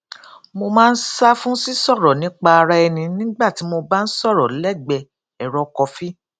mo máa ń sá fún sí sọrọ nípa ara ẹni nígbà tí mo bá ń sọrọ lẹgbẹẹ ẹrọ kọfí